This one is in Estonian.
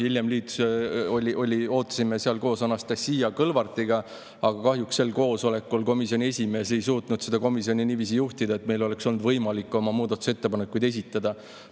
Hiljem ootasime seal koos Anastassia Kõlvartiga, aga kahjuks sel koosolekul komisjoni esimees ei suutnud seda niiviisi juhtida, et meil oleks olnud võimalik oma muudatusettepanekuid esitada.